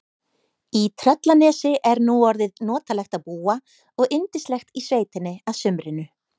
Í Tröllanesi er nú orðið notalegt að búa og yndislegt í sveitinni að sumrinu.